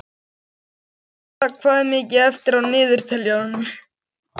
Beta, hvað er mikið eftir af niðurteljaranum?